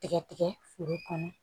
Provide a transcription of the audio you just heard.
Tigɛ tigɛ foro kɔnɔ